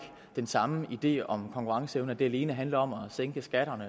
den samme idé om konkurrenceevnen det alene handler om at sænke skatterne